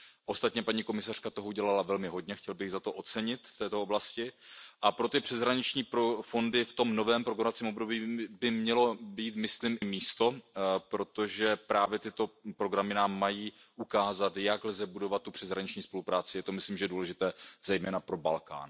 Ostatně paní komisařka toho udělala velmi hodně, chtěl bych ji za to ocenit v této oblasti a pro ty přeshraniční fondy v tom novém programovacím období by mělo být místo, protože právě tyto programy nám mají ukázat, jak lze budovat přeshraniční spolupráci, je to myslím důležité zejména pro Balkán.